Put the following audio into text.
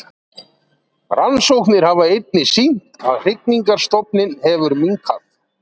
Rannsóknir hafa einnig sýnt að hrygningarstofninn hefur minnkað.